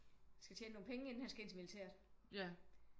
Han skal tjene nogle penge inden han skal ind til militæret